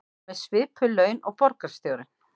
Með svipuð laun og borgarstjórinn